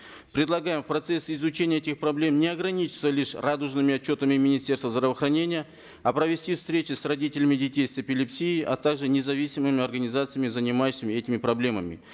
предлагаем в процессе изучения этих проблем не ограничиваться лишь радужными отчетами министерста здравоохранения а провести встречи с родителями детей с эпилепсией а также независимыми организациями занимающимися этими проблемами